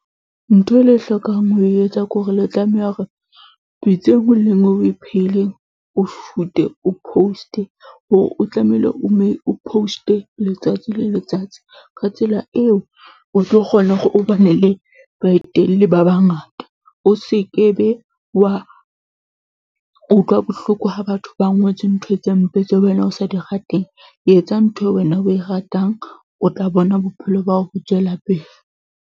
Ntho e le e hlokang ho etsa ke hore le tlameha hore pitsa e nngwe le e nngwe eo o e phehileng, o shoot-e o post-e hore o tlamehile o mme o post-e letsatsi le letsatsi. Ka tsela eo o tlo kgona hore o ba na le baetelle ba bangata. O se ke be wa utlwa bohloko ha batho ba ngotse ntho tse mpe tseo wena o sa di rateng. Etsa ntho eo wena o e ratang, o tla bona bophelo ba hao bo tswela pele.